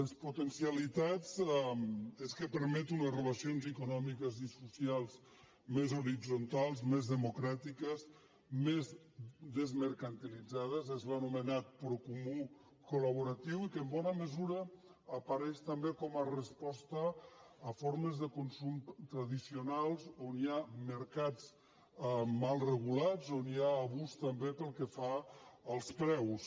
les potencialitats és que permet unes relacions econòmiques i socials més horitzontals més democràtiques més desmercantilitzades és l’anomenat procomú colapareix també com a resposta a formes de consum tradicionals on hi ha mercats mal regulats on hi ha abús també pel que fa als preus